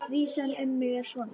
Vísan um mig er svona: